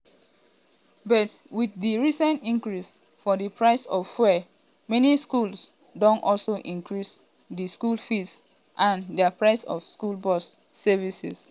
but wit di recent increase for di price of fuel many schools don also increase di school fees and dia prices of school bus services.